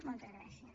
moltes gràcies